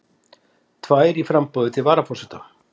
Tvær í framboði til varaforseta